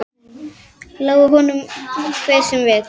Lái honum hver sem vill.